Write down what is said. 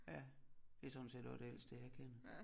Ja det sådan set også det ældste jeg kender